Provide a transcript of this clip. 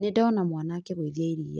Nĩndona mwana akĩgũithia iria